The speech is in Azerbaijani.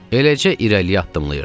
Eləcə irəliyə addımlayırdıq.